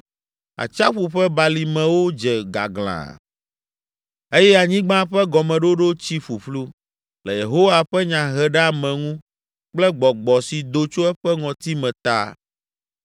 Atsiaƒu ƒe balimewo dze gaglãa eye anyigba ƒe gɔmeɖoɖo tsi ƒuƒlu le Yehowa ƒe nyaheɖeameŋu kple gbɔgbɔ si do tso eƒe ŋɔtime ta.